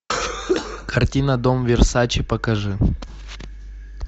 картина дом версаче покажи